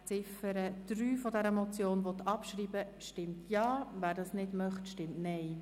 Wer die Ziffer 3 der Motion abschreiben will, stimmt Ja, wer dies nicht möchte, stimmt Nein.